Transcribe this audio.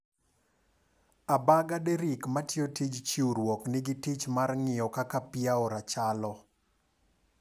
Agaba Derrick matimo tij chiwruok nigi tich mar ng'iyo kaka pii aora chalo.